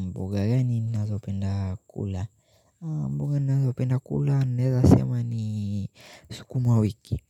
Mboga gani nazo penda kula? Mboga nazo penda kula naeza sema ni sukuma wiki